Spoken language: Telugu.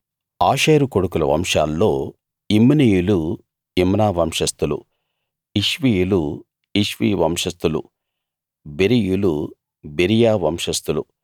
ఆషేరు కొడుకుల వంశాల్లో యిమ్నీయులు యిమ్నా వంశస్థులు ఇష్వీయులు ఇష్వీ వంశస్థులు బెరీయులు బెరీయా వంశస్థులు